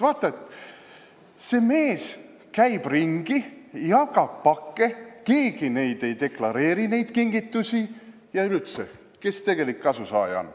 Vaata, see mees käib ringi, jagab pakke, keegi neid kingitusi ei deklareeri ja üleüldse, kes tegelik kasusaaja on.